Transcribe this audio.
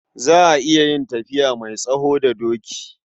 Za a iya yin tafiya mai tsawo da doki.